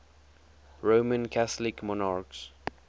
roman catholic monarchs